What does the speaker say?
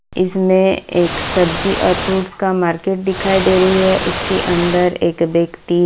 इसमें एक सब्जी और फ्रूट्स का मार्केट दिखाई दे रही है उसके अंदर एक व्यक्ति --